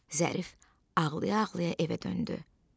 Zərif ağlaya-ağlaya evə döndü.